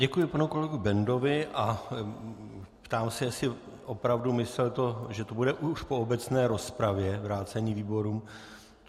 Děkuji panu kolegovi Bendovi a ptám se, jestli opravdu myslel to, že to bude už po obecné rozpravě, vrácení výborům.